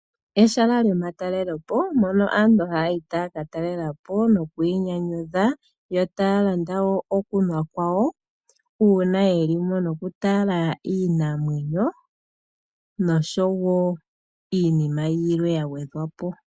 Ehala lyomatalelopo hono aantu haya ka talela po nokuinyanyudha yo taya landa wo okunwa kwawo uuna ye li mo nokutala iinamwenyo noshowo iinima yilwe ya gwedhwa po.